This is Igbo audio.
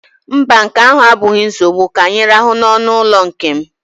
Mba, nke ahụ abụghị nsogbu, ka anyị rahụ n'ọnụụlọ nke m